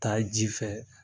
Taa ji fɛ